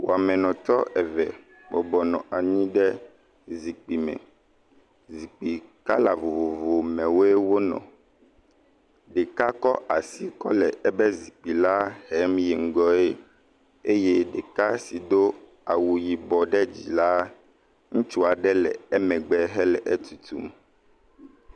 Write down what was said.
Wamenɔtɔ eve bɔbɔnɔ anyi ɖe zikpui me zikpui kɔla vovovowo me ow wonɔ, ɖeka kɔ asi kɔ le eƒe zikpui la hem yi ŋgɔe eye ɖeka si do awu yibɔ ɖe dzi la ŋutsu aɖe le emegbe le etutum.